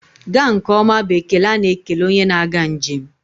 Gaa nke ọma bụ ekele a na-ekele onye na-aga njem.